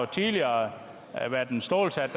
tidligere været en stålsat